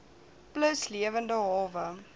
plus lewende hawe